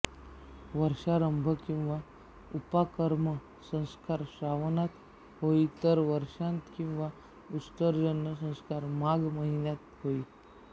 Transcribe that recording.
वर्षारंभ किंवा उपाकर्म संस्कार श्रावणात होई तर वर्षांत किंवा उत्सर्जन संस्कार माघ महिन्यात होई